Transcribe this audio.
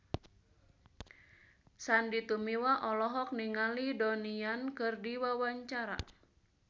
Sandy Tumiwa olohok ningali Donnie Yan keur diwawancara